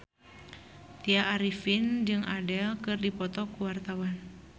Tya Arifin jeung Adele keur dipoto ku wartawan